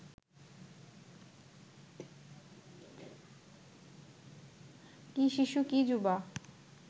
কি শিশু কি যুবা